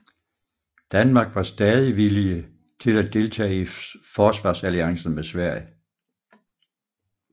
Danmark var stadig villige til at deltage i forsvarsalliancen med Sverige